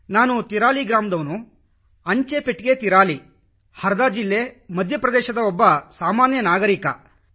ನಾನು ತಿರಾಲಿ ಗ್ರಾಮ ಅಂಚೆ ಪೆಟ್ಟಿಗೆ ತಿರಾಲಿ ಹರದಾ ಜಿಲ್ಲೆ ಮಧ್ಯ ಪ್ರದೇಶದ ಒಬ್ಬ ಸಾಮಾನ್ಯ ನಾಗರಿಕನಾಗಿದ್ದೇನೆ